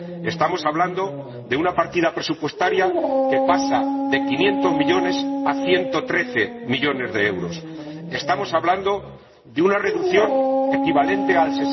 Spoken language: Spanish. Estamos hablando de una partida presupuestaria que pasa de 500 millones a 113 millones de euros, estamos hablando de una reducción equivalente al